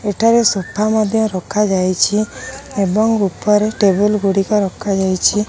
ଏଠାରେ ସୋଫା ମଧ୍ୟ ରଖାଯାଇଛି ଏବଂ ଉପରେ ଟେବୁଲ ଗୁଡ଼ିକ ରଖାଯାଇଛି।